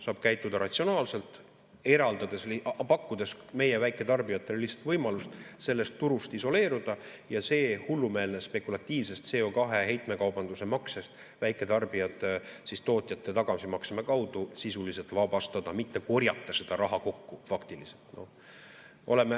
Saab käituda ratsionaalselt, pakkudes meie väiketarbijatele lihtsalt võimalust sellest turust isoleeruda ja sellest hullumeelsest spekulatiivsest CO2 heitmekaubanduse maksest väiketarbijad tootjate tagasimakse kaudu sisuliselt vabastada, mitte korjata seda raha kokku.